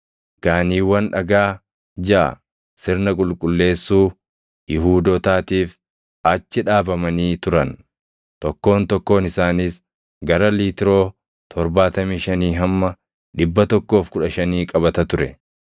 Gaaniiwwan dhagaa jaʼa sirna qulqulleessuu Yihuudootaatiif achi dhaabamanii turan; tokkoon tokkoon isaaniis gara liitiroo 75 hamma 115 qabata ture.